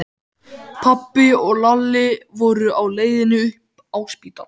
Pabbi og Lalli voru á leiðinni upp á spítala.